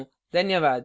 धन्यवाद